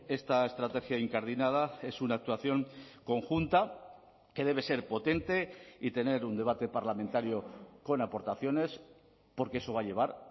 esta estrategia incardinada es una actuación conjunta que debe ser potente y tener un debate parlamentario con aportaciones porque eso va a llevar